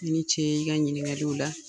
I ni ce i ka ɲininkaliw la.